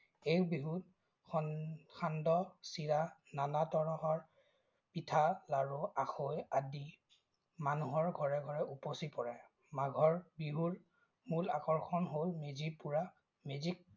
এই বিহুত সান্দহ, চিৰা, নানা তৰহৰ পিঠা, লাৰু, আখৈ, আদি মানুহৰ ঘৰে-ঘৰে উপচি পৰে। মাঘৰ বিহুত মূল আকৰ্ষণ হল মেজি পোৰা, মেজিক